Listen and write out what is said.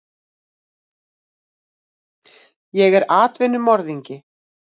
Ég er atvinnumorðingi.